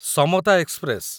Samata express